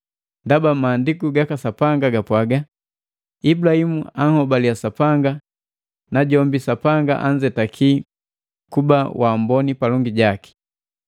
Ndaba Maandiku gaka Sapanga gapwaga, “Ibulahimu anhobalia Sapanga, najombi Sapanga anzetakia kuba waamboni palongi jaki.”